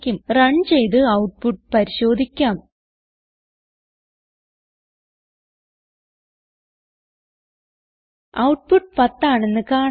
run ചെയ്ത് output പരിശോധിക്കാം output 10 ആണെന്ന് കാണാം